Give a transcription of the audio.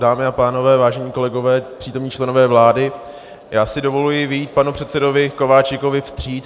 Dámy a pánové, vážení kolegové, přítomní členové vlády, já si dovoluji vyjít panu předsedovi Kováčikovi vstříc.